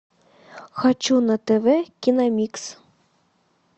хочу на тв киномикс